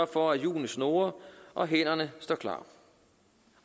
for at hjulene snurrer og hænderne står klar